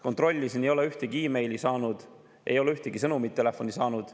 Kontrollisin, ma ei ole ühtegi meili saanud, ei ole ühtegi sõnumit telefoni saanud.